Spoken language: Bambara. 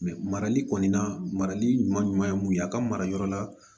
marali kɔni na marali ɲuman ye mun ye a ka mara yɔrɔ la